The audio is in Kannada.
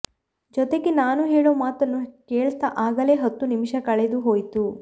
ಜೊತೆಗೆ ನಾನು ಹೇಳೋ ಮಾತನ್ನು ಕೇಳ್ತಾ ಆಗಲೇ ಹತ್ತು ನಿಮಿಷ ಕಳೆದು ಹೋಯ್ತು